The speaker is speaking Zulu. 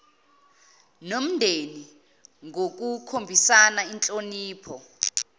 nomndeni ngokukhombisa inhlonipho